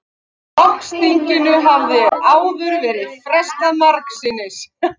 Flokksþinginu hafði áður verið frestað margsinnis